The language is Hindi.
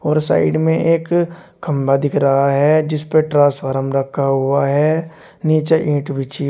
और साइड में एक खंभा दिख रहा है जिस पे ट्रांसफॉरम रखा हुआ है नीचे ईंट बिछी--